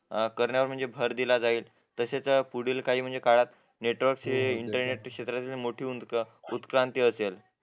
अं करण्यावर भर दिला जाईल तसेच पुढील काही काळात नेटवर्क हे इंटर नेट उत्क्रांती